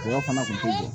fana tun tɛ